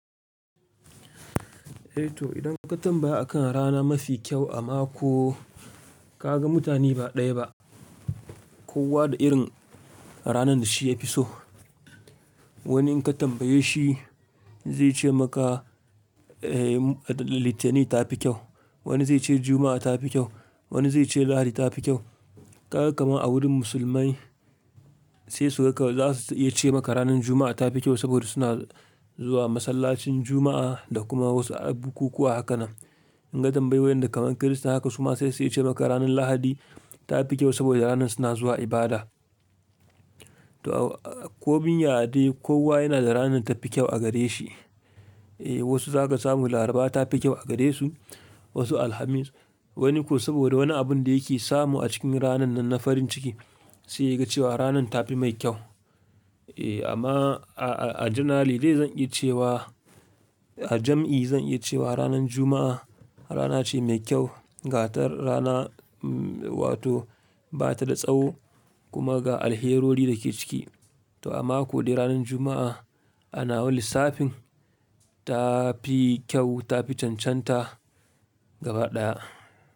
Eh to idan ka tambaya akan rana mafi kyau a mako ka ga mutane ba ɗaya ba. Kowa da irin ranar da shi ya fi so. Wani in ka tambaye shi, zai ce maka Litinin ta fi kyau. Wani zai ce Juma'a ta fi kyau. Wani zai ce Lahadi ta fi kyau. Kaga kamar a wurin musulmai sai su, haka za su iya ce maka ranar Juma'a ta fi kyau saboda suna zuwa masallacin Juma'a, da kuma wasu bukukuwa haka nan. In ka tambayi waɗanda kaman Kirista, haka su ma sai su iya ce maka ranar Lahadi ta fi kyau saboda ranar suna zuwa ibada. To, komin ya dai kowa yana da ranar ta fi kyau a gare shi. Eh wasu za ka samu Laraba ta fi kyau a gare su, wasu Alhamis. Wani kuma saboda wani abun da yake samu a cikin ranan nan na farin ciki, sai ya ga cewa ranan ta fi mai kyau. Eh amma a janali dai zan iya ce wa a jam'i zan iya ce wa ranar Juma'a rana ce mai kyau ga ta rana wato ba ta da tsawo kuma ga alherori da ke ciki. To a mako dai ranar Juma'a, a nawa lissafin ta fi kyau ta fi cancanta gaba ɗaya.